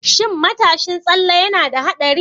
Shin matashin tsalle yana da haɗari?